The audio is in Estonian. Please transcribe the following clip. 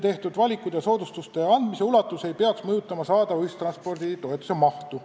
Tehtud valikud ja soodustuste andmise ulatus ei peaks mõjutama saadava ühistransporditoetuse mahtu.